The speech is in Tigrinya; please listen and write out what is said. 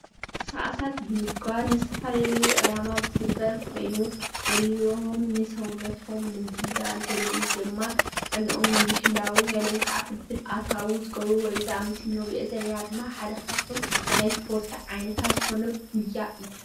እዚ ምስሊ ስፓርታዊ ምንቅሰቃስ ዝካየድሉ ስታድዮም ኮይኑ ሰባት ኣከላዊ ምንቅስቃስ ይገብርሉ።